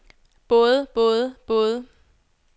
både både både